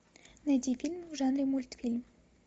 найди фильм в жанре мультфильм